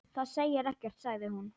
Það segir ekkert sagði hún.